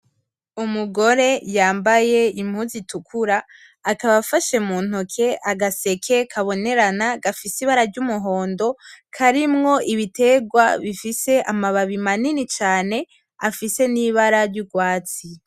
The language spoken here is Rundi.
Umugore yambaye impuzu itukura, akaba afashe muntoke agaseke kabonerana gafise ibara ryumuhondo karimwo ibiterwa bifise amababi manini cane afise nibara ryurwatsi.